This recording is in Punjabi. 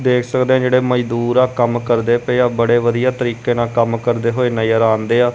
ਦੇਖ ਸਕਦੇਆਂ ਜੇਹੜੇ ਮਜ਼ਦੂਰ ਆ ਕੰਮ ਕਰਦੇ ਪਏਆ ਬੜੇ ਵਧੀਆ ਤਰੀਕੇ ਨਾਲ ਕੰਮ ਕਰਦੇ ਹੋਏ ਨਜ਼ਰ ਆਂਦੇਆ।